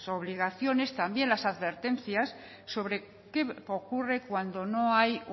obligaciones también las advertencias sobre qué ocurre cuando no hay